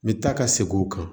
N bɛ taa ka segin o kan